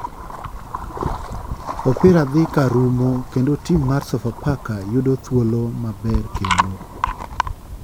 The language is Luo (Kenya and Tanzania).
Opira dhi karumo kendo tim mar sofa faka yudo thuolo maber kendo ,